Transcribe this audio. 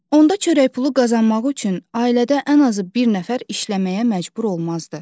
Onda çörək pulu qazanmaq üçün ailədə ən azı bir nəfər işləməyə məcbur olmazdı.